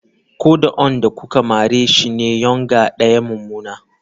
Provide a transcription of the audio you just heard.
Ko da onrn da kuke mare shi ne yournger daya mu mummuna.